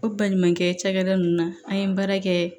O baɲumankɛ cɛkɛda ninnu na an ye baara kɛ